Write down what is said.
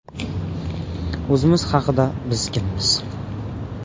O‘zimiz haqida: biz kimmiz?